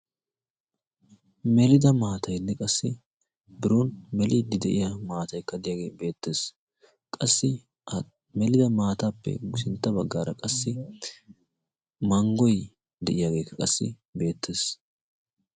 Melida maataynne qassi biron meliiddi de'iya maataykka deiyaagee beettees qassi melida maataappe ushacha baggaara qassi manggoy de'iyaageeka qassi beettees.